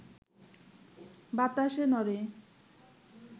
বাতাসে নড়ে,